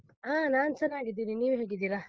ಹಾ, ನಾನು ಚೆನ್ನಾಗಿದ್ದೀನಿ, ನೀವು ಹೇಗಿದ್ದೀರಾ?